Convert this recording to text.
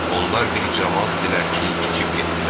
Onlar bir camaat idilər ki, keçib getdilər.